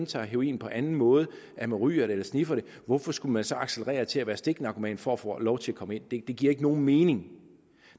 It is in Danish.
tager heroin på en anden måde ryger det eller sniffer det hvorfor skulle man så accelerere til at være stiknarkoman for at få lov til at komme ind det giver ikke nogen mening